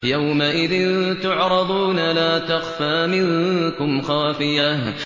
يَوْمَئِذٍ تُعْرَضُونَ لَا تَخْفَىٰ مِنكُمْ خَافِيَةٌ